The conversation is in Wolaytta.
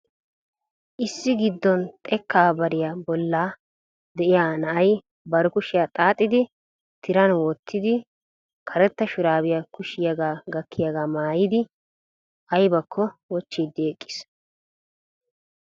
issi giddon xekka bariyaa bolla de'iyaa na'ay bari kushiyaa xaaxxidi tiran wottidi karetta shurabbiya kushiyaaga gakkiyaaga maayyidi aybbakko wochchiidi eqqiis.